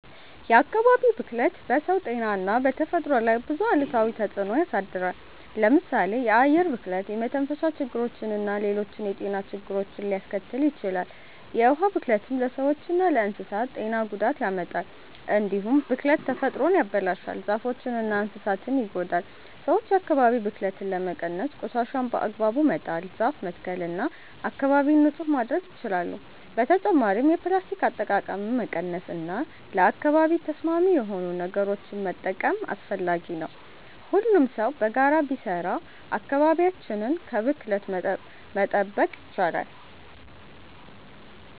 የአካባቢ ብክለት በሰው ጤና እና በተፈጥሮ ላይ ብዙ አሉታዊ ተጽዕኖ ያሳድራል። ለምሳሌ የአየር ብክለት የመተንፈሻ ችግርና ሌሎች የጤና ችግሮችን ሊያስከትል ይችላል። የውሃ ብክለትም ለሰዎችና ለእንስሳት ጤና ጉዳት ያመጣል። እንዲሁም ብክለት ተፈጥሮን ያበላሻል፣ ዛፎችንና እንስሳትን ይጎዳል። ሰዎች የአካባቢ ብክለትን ለመቀነስ ቆሻሻን በአግባቡ መጣል፣ ዛፍ መትከል እና አካባቢን ንጹህ ማድረግ ይችላሉ። በተጨማሪም የፕላስቲክ አጠቃቀምን መቀነስ እና ለአካባቢ ተስማሚ የሆኑ ነገሮችን መጠቀም አስፈላጊ ነው። ሁሉም ሰው በጋራ ቢሰራ አካባቢያችንን ከብክለት መጠበቅ ይቻላል።